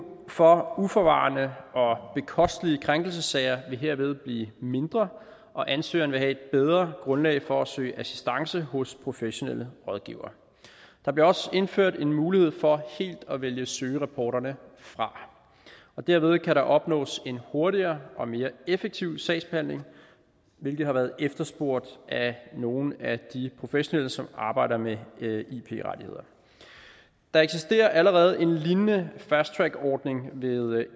for uforvarende og bekostelige krænkelsessager vil herved blive mindre og ansøgeren vil have et bedre grundlag for at søge assistance hos professionelle rådgivere der bliver også indført en mulighed for helt at vælge søgerapporterne fra derved kan der opnås en hurtigere og mere effektiv sagsbehandling hvilket har været efterspurgt af nogle af de professionelle som arbejder med ip rettigheder der eksisterer allerede en lignende fast track ordning ved